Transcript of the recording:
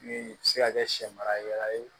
Ni se ka kɛ sɛ mara yɔrɔ ye